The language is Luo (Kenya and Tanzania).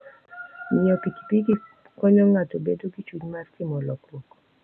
Ng'iyo pikipiki konyo ng'ato bedo gi chuny mar timo lokruok.